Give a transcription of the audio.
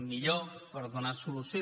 millor per donar solució